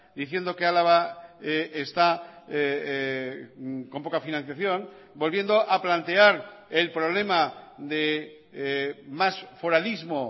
diciendo que álava está con poca financiación volviendo a plantear el problema de más foralismo